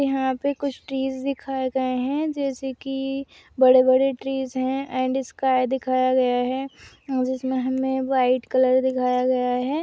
यह पे कुछ ट्रीज़ दिखाई गए है जैसे की बड़े बड़े ट्रीज़ हे एण्ड स्काइ दिखया गया है जिसमे हमे व्हाइट कलर दिखाया गया है।